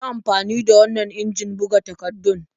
Yi amfani da wannan injin buga takardun.